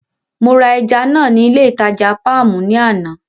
Mo ra ẹja náà ní ilé ìtajà Páàmù ní àná.